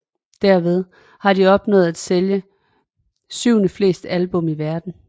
Derved har de opnået at sælge syvendeflest album i verdenen